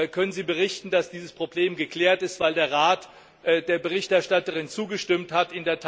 Können Sie berichten, dass dieses Problem geklärt ist, weil der Rat der Berichterstatterin zugestimmt hat?